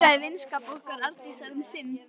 Hún bjargaði vinskap okkar Arndísar um sinn.